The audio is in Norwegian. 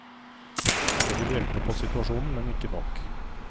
Det vil hjelpe på situasjonen, men ikke nok.